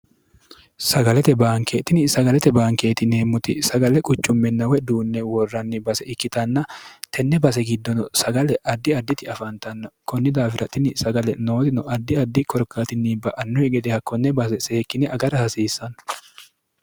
sagalete baankeetini sagalete baankeetiniemmuti sagale quchumminawe duunne worranni base ikkitanna tenne base giddono sagale addi additi afantanna kunni daafiratini sagale nootino addi addi korkaatinni ba annuwi gedeha konne base seekkine agara hasiissanno